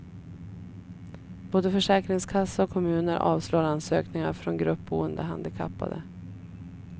Både försäkringskassa och kommuner avslår ansökningar från gruppboende handikappade.